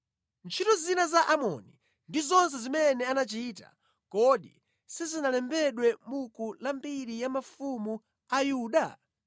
Ntchito zina za Amoni ndi zonse zimene anachita, kodi sizinalembedwe mʼbuku la mbiri ya mafumu a Yuda?